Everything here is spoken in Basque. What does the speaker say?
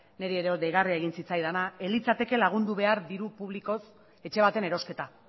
niri ere deigarria egin zitzaidana ez litzateke lagundu behar diru publikoz etxe baten erosketa